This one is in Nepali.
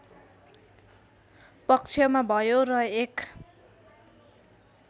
पक्षमा भयो र एक